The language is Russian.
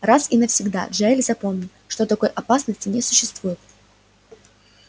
раз и навсегда джаэль запомни что такой опасности не существует